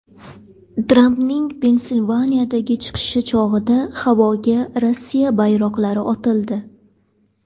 Trampning Pensilvaniyadagi chiqishi chog‘ida havoga Rossiya bayroqlari otildi.